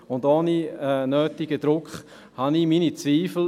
Ohne den nötigen Druck habe ich meine Zweifel.